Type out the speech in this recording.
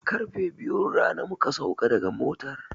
Karfe biyun rana muka sauka daga motar.